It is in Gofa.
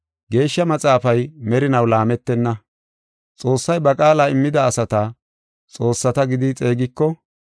Geeshsha Maxaafay merinaw laametenna. Xoossay ba qaala immida asata, ‘xoossata’ gidi xeegiko,